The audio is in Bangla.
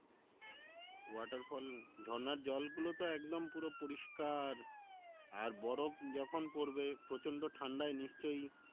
waterfall ঝর্ণার জলগুলোতো একদম পুরো পরিষ্কার, আর বরফ যখন পরবে প্রচন্ড ঠান্ডায় নিশ্চই